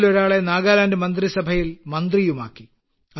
ഇവരിലൊരാളെ നാഗാലാൻഡ് മന്ത്രിസഭയിൽ മന്ത്രിയുമാക്കി